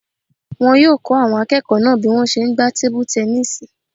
Wọn yóò kọ́ àwọn akẹ́kọ̀ọ́ náà bí wọ́n ṣe n gbá tebu-tẹnísì